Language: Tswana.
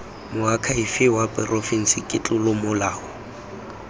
moakhaefe wa porofense ke tlolomolao